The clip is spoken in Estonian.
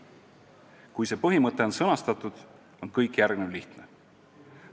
Kui see põhimõte on sõnastatud, on kõik järgnev lihtne.